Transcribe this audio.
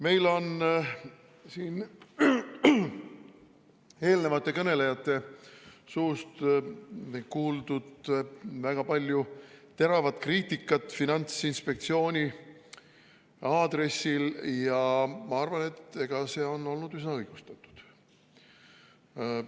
Meil on siin eelnevate kõnelejate suust kuuldud väga palju teravat kriitikat Finantsinspektsiooni aadressil ja ma arvan, et see on olnud üsna õigustatud.